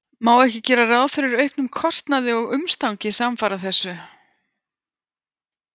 Má ekki gera ráð fyrir auknum kostnaði og umstangi samfara þessu?